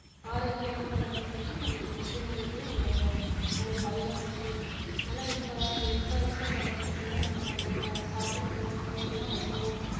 ஆரோக்கியமா வளர்றதுக்கு நமக்கு முக்கியமானது அந்த அது தான் விஷயம் ஆனா இப்ப வ~ இருக்கிற காலகட்டத்துல நம்ம நம்ம சாப்பிடுற பொருட்கள் எல்லாம் அவ்ளோ